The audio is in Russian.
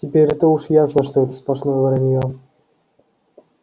теперь-то уж ясно что это сплошное враньё